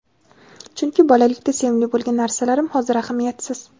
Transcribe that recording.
Chunki bolalikda sevimli bo‘lgan narsalarim hozir ahamiyatsiz.